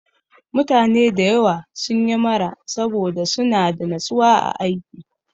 Mutane da yawa sun yi mara saboda suna da natsuwa a aiki.